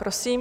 Prosím.